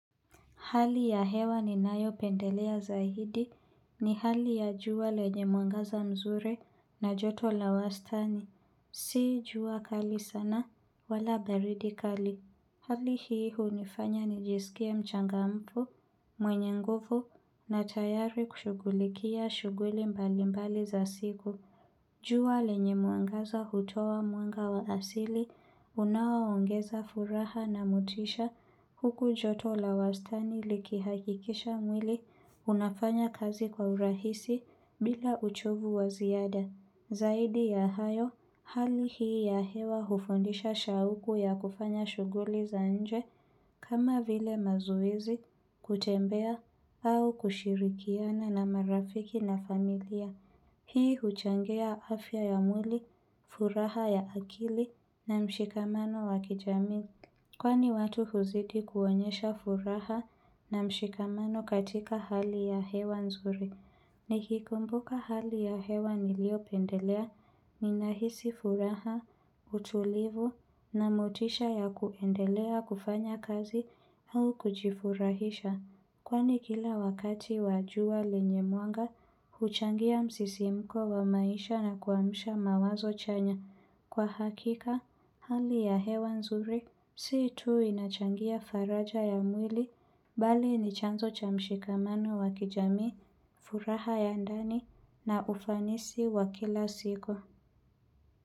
Hali ya hewa ni nayo pendelea zaidi ni hali ya jua lenye mwangaza mzuri na joto la wastani. Si jua kali sana wala baridi kali. Hali hii hunifanya nijisikie mchangamfu, mwenye nguvu na tayari kushugulikia shughuli mbali mbali za siku. Jua lenye mwangaza hutoa mwanga wa asili unawaongeza furaha na motisha, huku joto la wastani likihakikisha mwili unafanya kazi kwa urahisi bila uchovu wa ziada. Zaidi ya hayo, hali hii ya hewa hufundisha shauku ya kufanya shughuli za nje kama vile mazuezi kutembea au kushirikiana na marafiki na familia. Changia afya ya mwili, furaha ya akili na mshikamano wa kijamii. Kwani watu huzidi kuonyesha furaha na mshikamano katika hali ya hewa nzuri. Nikikumbuka hali ya hewa nilio pendelea, ninahisi furaha, utulivu na motisha ya kuendelea kufanya kazi au kujifurahisha. Kwani kila wakati wa jua lenye mwanga, huchangia msisimko wa maisha na kuamasha mawazo chanya. Kwa hakika, hali ya hewa nzuri, si tu inachangia faraja ya mwili, bali ni chanzo cha mshikamano wa kijamii, furaha ya ndani na ufanisi wa kila siku.